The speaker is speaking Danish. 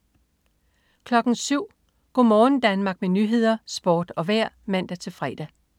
07.00 Go' morgen Danmark med nyheder, sport og vejr (man-fre)